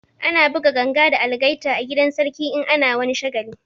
Ana buga ganga da algaita a gidan sarki in ana wani shagali